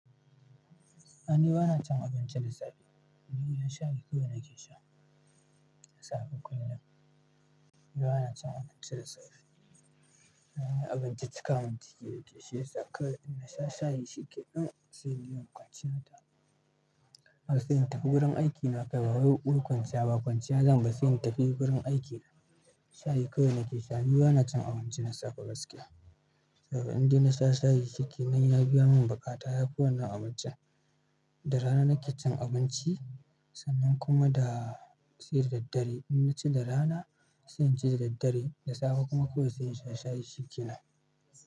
Ni bana cin abinci da safe ruwan shayi kawai nake sha da safe kullum. Ni bana cin abinci da safe. Abinci cika mun ciki yake shi yasa in na sha shayi shi ke nan sai inje in kwanciya. Har sai in tafi wurin aiki na kai babba ruwa kwanciya ba kwanciya zan ba sai in tafi wurin aiki. Shayi kawai nake sha. Ni bana cin abinci na safe gaskiya. Saboda in dai na sha shayi shi ke nai, ya biya mun buƙata. Yafi wannan abincin. Da rana nake cin abinci sannan kuma da sai da daddare. In na ci da rana sai in ci da daddare. Da safe kuma kawai sai in sha shayi shi ke nan.